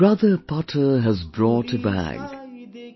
Brother Potter has brought a bag,